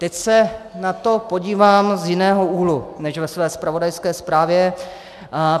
Teď se na to podívám z jiného úhlu než ve své zpravodajské zprávě.